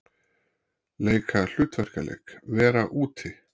Leika- hlutverkaleik- vera úti